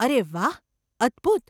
અરે વાહ, અદભૂત.